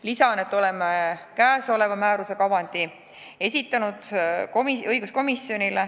Lisan, et oleme sellise määruse kavandi esitanud õiguskomisjonile.